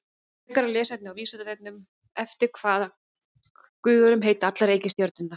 Frekara lesefni á Vísindavefnum: Eftir hvaða guðum heita allar reikistjörnurnar?